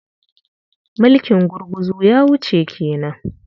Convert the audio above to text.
Mulkin gurguzu ya wuce ke nan.